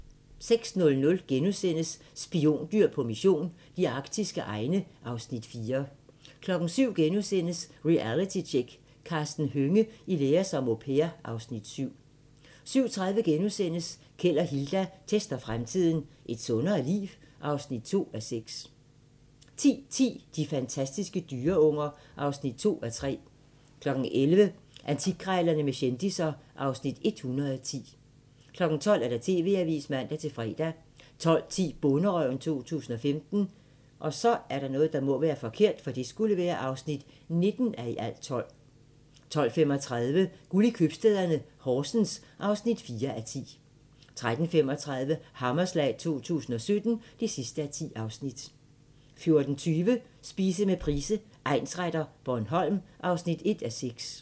06:00: Spiondyr på mission - de arktiske egne (Afs. 4)* 07:00: Realitytjek: Karsten Hønge i lære som au pair (Afs. 7)* 07:30: Keld og Hilda tester fremtiden - Et sundere liv? (2:6)* 10:10: De fantastiske dyreunger (2:3) 11:00: Antikkrejlerne med kendisser (Afs. 110) 12:00: TV-avisen (man-fre) 12:10: Bonderøven 2015 (19:12) 12:35: Guld i købstæderne – Horsens (4:10) 13:35: Hammerslag 2017 (10:10) 14:20: Spise med Price, egnsretter: Bornholm (1:6)